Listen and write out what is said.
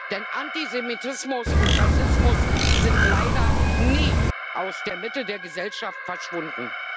Denn Antisemitismus und Rassismus sind leider nie aus der Mitte der Gesellschaft verschwunden.